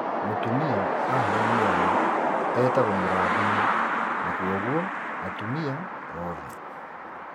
Mũtumia aheo mwana etagũo mũrathime na kwogwo atumia oothe